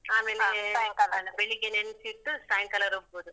ಆಮೇಲೆ ಅಲ್ಲ ಬೆಳಿಗ್ಗೆ ನೆನ್ಸಿಟ್ಟು ಸಾಯಂಕಾಲ ರುಬ್ಬೋದು.